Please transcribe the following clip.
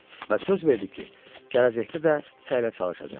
Və söz verdi ki, gələcəkdə də səylə çalışacaq.